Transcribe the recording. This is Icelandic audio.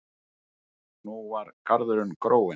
Nú var garðurinn gróinn.